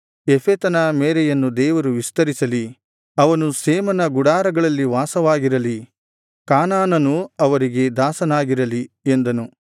ಯೆಫೆತನ ಮೇರೆಯನ್ನು ದೇವರು ವಿಸ್ತರಿಸಲಿ ಅವನು ಶೇಮನ ಗುಡಾರಗಳಲ್ಲಿ ವಾಸವಾಗಿರಲಿ ಕಾನಾನನು ಅವರಿಗೆ ದಾಸನಾಗಿರಲಿ ಎಂದನು